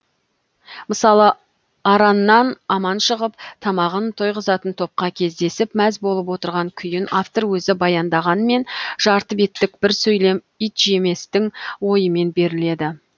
мысалы араннан аман шығып тамағын тойғызатын топқа кездесіп мәз болып отырған күйін автор өзі баяндағанмен жарты беттік бір сөйлем итжеместің ойымен беріледі